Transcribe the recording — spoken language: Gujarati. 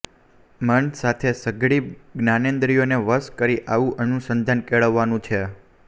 મન સાથે સઘળી જ્ઞાનેંદ્રિયોને વશ કરી આવુ અનુસંંધાન કેળવવાનું છે